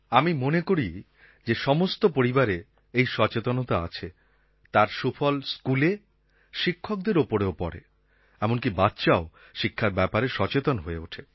আমি মনে করি যে সমস্ত পরিবারে এই সচেতনতা আছে তার সুফল স্কুলে শিক্ষকদের ওপর পড়ে এমনকি বাচ্চাও শিক্ষার ব্যাপারে সচেতন হয়ে ওঠে